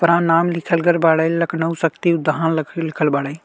ऊपरा नाम लिखल गइल बाड़े। लख़नऊ शक्ति उदहान बाड़े।